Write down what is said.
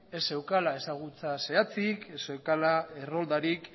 ez zeukala ezagutza zehatzik ez zeukala erroldarik